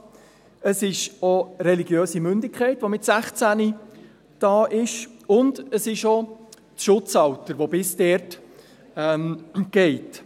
Mit 16 ist auch die religiöse Mündigkeit vorhanden und auch das Schutzalter, welches bis dorthin reicht.